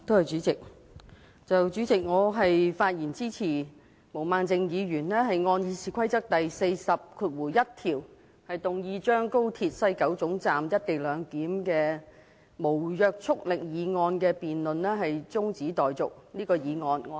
主席，我發言支持毛孟靜議員按《議事規則》第401條，動議將廣深港高速鐵路西九龍站"一地兩檢"無約束力議案的辯論中止待續。